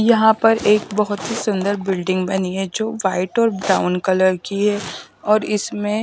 यहाँ पर एक बहुत ही सुंदर बिल्डिंग बनी है जो व्हाईट और ब्राउन कलर की है और इसमें--